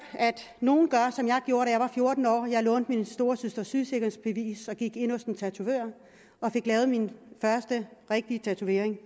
at nogle gør som jeg gjorde da jeg var fjorten år hvor jeg lånte min storesøsters sygesikringsbevis og gik ind hos en tatovør og fik lavet min første rigtige tatovering